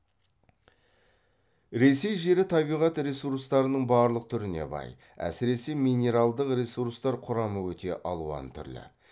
ресей жері табиғат ресурстарының барлық түріне бай әсіресе минералдық ресурстар құрамы өте алуан түрлі